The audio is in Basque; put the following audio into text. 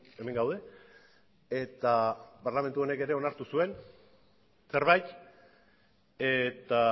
hemen gaude eta parlamentu honek ere onartu zuen zerbait eta